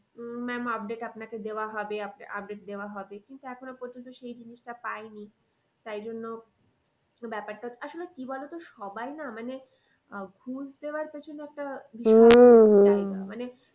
উম ma'am update আপনাকে দেওয়া হবে update দেওয়া হবে। কিন্তু এখনো পর্যন্ত সেই জিনিসটা পাইনি। তাই জন্য ব্যাপারটা আসলে কি বলতো সবাই না মানে আহ ঘুষ দেওয়ার পেছনে একটা মানে